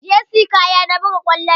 Jersey kaya na buga ƙwallo ne